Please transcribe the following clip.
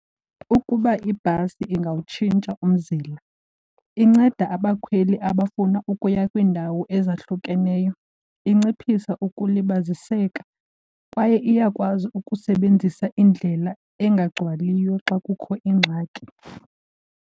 Ukuba ibhasi ingawutshintsha umzila inceda abakhweli abafuna ukuya kwiindawo ezahlukeneyo, inciphisa ukulibaziseka kwaye iyakwazi ukusebenzisa indlela engagcwaliyo xa kukho ingxaki.